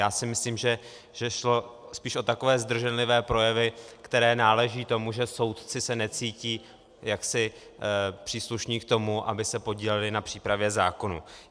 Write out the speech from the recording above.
Já si myslím, že šlo spíš o takové zdrženlivé projevy, které náležejí tomu, že soudci se necítí jaksi příslušní k tomu, aby se podíleli na přípravě zákonů.